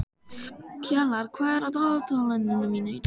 Kjalar, hvað er á dagatalinu mínu í dag?